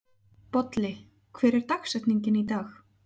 Bolli, hver er dagsetningin í dag?